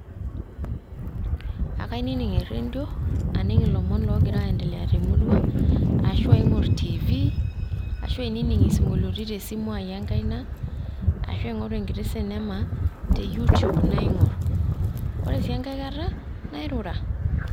Ekainining eredio, aning ilomon loogira aendelea te murua ashu aing`or TV ashu ainining isinkoliotin te simu ai enkaina, arashu aing`oru enkiti cinema te you tube naing`or ore sii tenkai kata nairura.